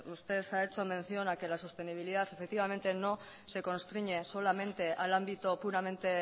usted ha hecho mención a que la sostenibilidad no se constriñe solamente al ámbito puramente